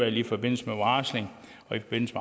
i forbindelse med varsling og i forbindelse